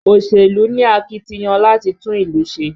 Òṣèlú ni akitiyan láti tún ìlú ṣe